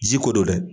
Jiko don dɛ